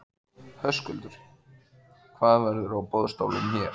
Höskuldur: Hvað verður á boðstólum hér?